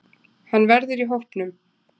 Hann verður í hópnum.